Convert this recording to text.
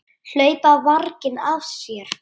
Hlaupa varginn af sér.